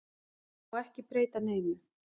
Það má ekki breyta neinu.